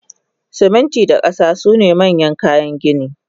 Siminti da kasa sune manyan kayan gini